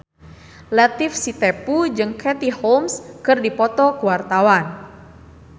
Latief Sitepu jeung Katie Holmes keur dipoto ku wartawan